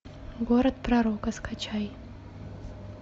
город пророка скачай